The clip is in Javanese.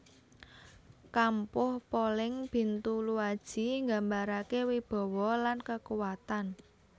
Kampuh Poleng Bintuluaji nggambarake wibawa lan kekuatan